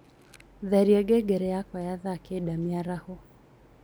tharĩa ngengere yakwa ya thaa kenda mĩaraho